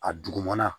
A dugumana